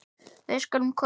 Við skulum koma